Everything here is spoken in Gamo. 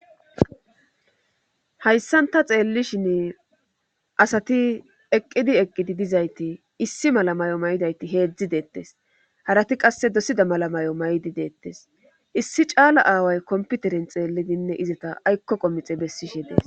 Hayssan ta xeellishin asati eqqidi eqqidi dizayti issi mala may7o may7idayti heedzdzi deettes harati qasse dosida mala may7o may7di deettes issi caala aaway komputerin xeellidinne izata aykko qomixe bessishe dees.